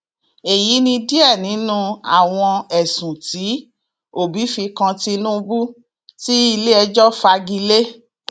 èyí ni díẹ nínú àwọn ẹsùn tí òbí fi kan tinubu tí iléẹjọ fagi lé